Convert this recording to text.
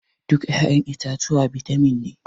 Duk ya'yan itatuwa bitamin ne.